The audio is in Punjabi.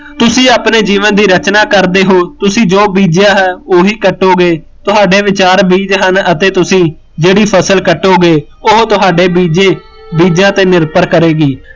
ਤੁਸੀਂ ਆਪਣੇ ਜੀਵਨ ਦੀ ਰਚਨਾ ਕਰਦੇ ਹੋ, ਤੁਸੀਂ ਜੋ ਬੀਜਿਆ ਹੈ ਉਹੀਂ ਕੱਟੋਗੇ, ਤੁਹਾਡੇ ਵਿਚਾਰ ਬੀਜ ਹਨ ਅਤੇ ਤੁਸੀਂ ਜਿਹੜੀ ਫਸਲ ਕੱਟੋਗੇ, ਉਹ ਤੁਹਾਡੇ ਬੀਜੈ ਬੀਜੀਆ ਤੇ ਨਿਰਭਰ ਕਰੇਗੀ